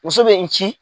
Muso bɛ n ci